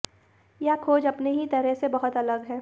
यह खोज अपने ही तरह से बहुत अलग है